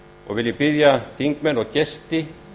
og vil ég biðja þingmenn og gesti